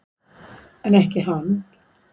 En ekki hann.